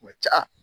Kuma ca